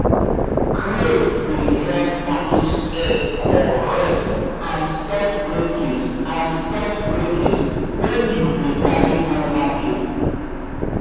crate dey help package egg correct and stop breakage and stop breakage when you dey carry go market